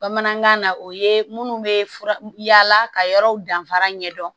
Bamanankan na o ye minnu bɛ fura yala ka yɔrɔw danfara ɲɛ dɔn